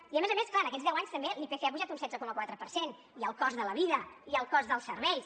i a més a més clar en aquests deu anys també l’ipc ha pujat un setze coma quatre per cent i el cost de la vida i el cost dels serveis